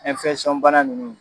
Ɛnfɛsɔn bana ninnu